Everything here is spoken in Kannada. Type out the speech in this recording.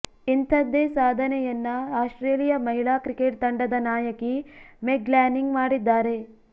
ಇಂಥದ್ದೇ ಸಾಧನೆಯನ್ನ ಆಸ್ಟ್ರೇಲಿಯಾ ಮಹಿಳಾ ಕ್ರಿಕೆಟ್ ತಂಡದ ನಾಯಕಿ ಮೆಗ್ ಲ್ಯಾನಿಂಗ್ ಮಾಡಿದ್ದಾರೆ